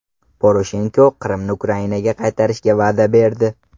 Poroshenko Qrimni Ukrainaga qaytarishga va’da berdi.